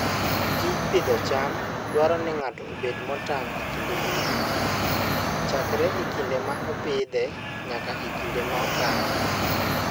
Tij pidho cham dwaro ni ng'ato obed motang' kinde duto, chakre e kinde ma opidhe nyaka e kinde ma okaye.